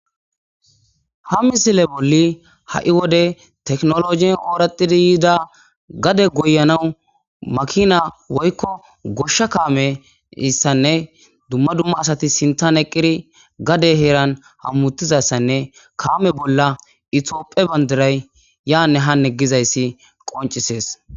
ha misile bolli ha7i wode teknologin ooratidi yiida gade goyanawu makina woykko goshsha kaame issanne dumma dumma asati sintan eqqiri gade heeran hammuttizassanne kaame bolla itioophe bandiray yaanne hanne gizayssi qoncisees